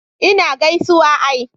ina gaisuwa ai